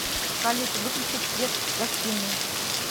салют выключить свет в гостиной